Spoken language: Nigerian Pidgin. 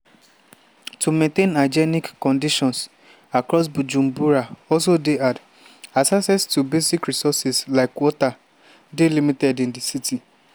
to maintain hygienic conditions across bujumbura also dey hard as access to basic resources like water dey limited in di city.